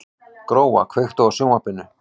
Gróa, kveiktu á sjónvarpinu.